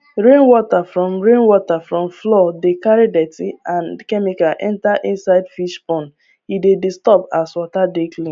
rain water from rain water from floor de carry dirty and chemical enter inisde fish pond e de disturb as water de clean